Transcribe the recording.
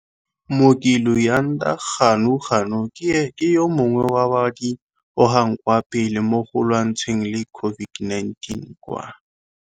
Mooki Luyanda Ganuganu ke yo mongwe wa ba ba di gogang kwa pele mogo lwantshaneng le COVID-19 kwa.